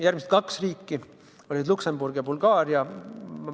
Järgmised kaks riiki olid Luksemburg ja Bulgaaria.